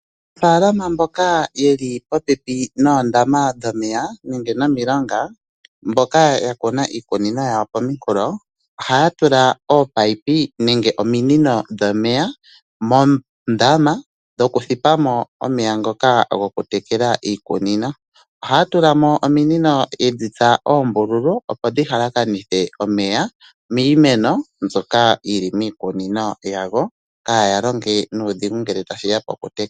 Aanafaalama mboka yeli popepi noondama dhomeya nenge nomilonga ,mboka ya kuna iikunino yawo pooha ohaya tula ominino dhomeya moondama dhoku thipamo omeya ngoka goku tekela iikunino . Ohaya tulamo ominino yedhitsa oombululu opo dhi halakanithe omeya miimeno mbyoka yili miikunino yawo kaya longe nuudhigu ngele tashiya poku tekela.